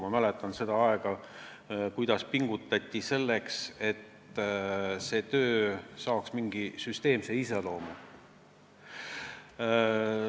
Ma mäletan seda aega, seda, kuidas pingutati selle nimel, et see töö saaks mingi süsteemse iseloomu.